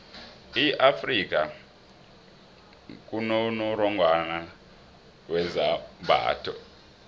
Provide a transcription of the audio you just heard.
e afrika kunonongorwani wezembatho